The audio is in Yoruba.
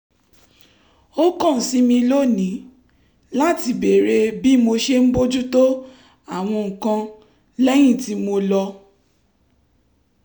ó kàn sí mi lónìí láti béèrè bí mo ṣe ń bójú tó àwọn nǹkan lẹ́yìn tí mo lọ